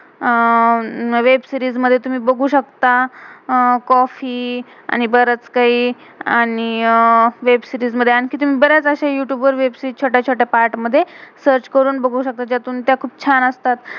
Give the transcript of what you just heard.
आह web series web-series मधे तुम्ही बघू शता अह कॉफ़ी coffee आणि बरच काही आणि अह वेब सीरीज web-series मधे. आणखी तुम्ही बर्याच अश्या यूतुब youtube वर वेब सीरीज web-series छोट्या छोट्या पार्ट मधे, सर्च search करुण बघू शकता. ज्या तुमच्या खुप छान असतात.